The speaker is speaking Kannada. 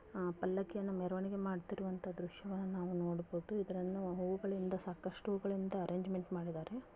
ಆ ಪಲಕ್ಕಿಯನ್ನು ಮೆರವಣಿಗೆ ಮಾಡುತ್ತಿರುವಂತ ದೃಶ್ಯಗಳನ್ನು ನಾವು ನೋಡಬೋದು ಇದನ್ನು ಹೂಗಳಿಂದ ಸಾಕಷ್ಟು ಹೂಗಳಿಂದ ಅರೇಂಜ್ಮೆಂಟ್ ಮಾಡಿದರೆ.